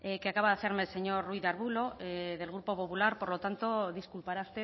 que acaba de hacerme el señor ruiz de arbulo del grupo popular por lo tanto disculpará